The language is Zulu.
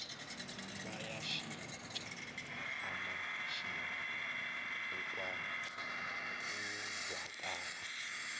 bayashintsha umantshinga uzwakala